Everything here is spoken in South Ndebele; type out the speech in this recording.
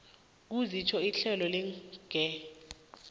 kusitjho ihlelo legear